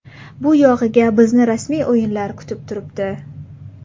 Bu yog‘iga bizni rasmiy o‘yinlar kutib turibdi.